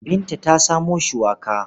Binta ta samo shuwaka.